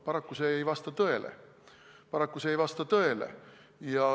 Paraku ei vasta see tõele.